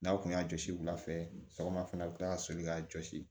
N'aw kun y'a jɔsi wula fɛ sɔgɔma fɛnɛ a bɛ kila ka soli k'a jɔsi